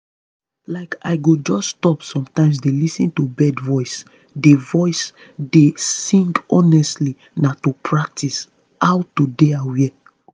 like i go just stop sometimes dey lis ten to bird voice dey voice dey sing honestly na to practice how to dey aware.